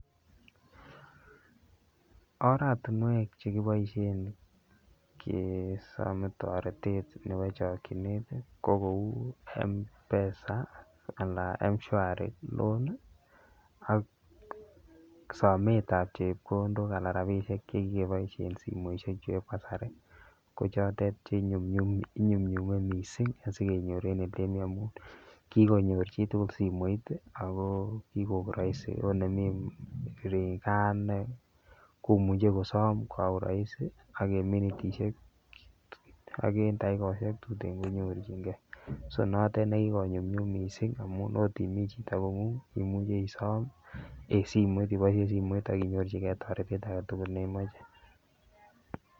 Oratumwek chekiboishen kesomen toretet nebo chokinet tii ko kou M'PESA anan ko Mshwari loan ak sometab chepkondok ana rabishek chekikeboishen simoishek chu eb kasari ko chotet chenyumnyum inyumnyumen missing asikenyor en olemoii amun kikonyor chitukul simoit yii6 ako kikoik roisi ot nemii ree gaa ine komuche kosom kwa uraisi ak en minitishek ak en yakikoshek tuten konyorchigee so motet nekikonyumnyum missing amun ot imii chito kongung imuche isom en simoit iboishen simoit akinyorchigee toretet agetukul neimoche.